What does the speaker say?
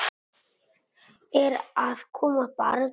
Er að koma barn?